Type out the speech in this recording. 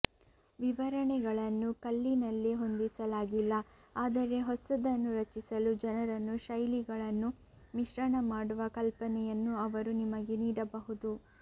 ವಿವರಣೆಗಳನ್ನು ಕಲ್ಲಿನಲ್ಲಿ ಹೊಂದಿಸಲಾಗಿಲ್ಲ ಆದರೆ ಹೊಸದನ್ನು ರಚಿಸಲು ಜನರನ್ನು ಶೈಲಿಗಳನ್ನು ಮಿಶ್ರಣ ಮಾಡುವ ಕಲ್ಪನೆಯನ್ನು ಅವರು ನಿಮಗೆ ನೀಡಬಹುದು